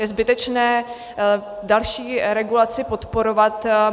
Je zbytečné další regulaci podporovat.